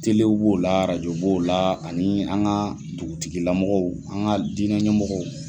Telew b'o la arajo bo u la ani an ka dugutigilamɔgɔw an ka diinɛɲɛmɔgɔw.